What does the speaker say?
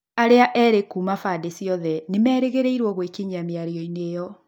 Arĩa erĩ kuuma bandĩ cĩothe nĩmerĩrgĩrĩirwo gwĩkinyĩa mĩarioinĩ ĩo.